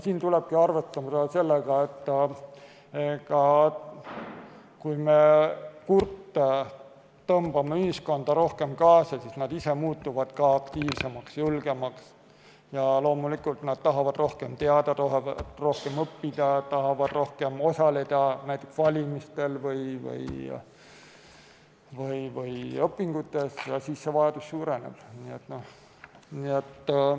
Siin tulebki arvestada sellega, et kui me kurte tõmbame ühiskonda rohkem kaasa, siis nad ise muutuvad aktiivsemaks, julgemaks ja loomulikult nad tahavad rohkem teada, tahavad rohkem õppida, tahavad rohkem osaleda näiteks valimistel või õpingutes, ja siis see vajadus suureneb.